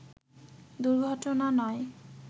দুর্ঘটনা নয়